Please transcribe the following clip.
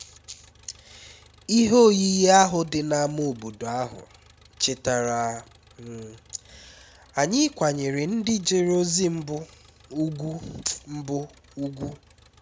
ihe oyiyi ahụ dị n’ámá obodo ahụ chetaara um anyị ịkwanyere ndị jere ozi mbụ ùgwù mbụ ùgwù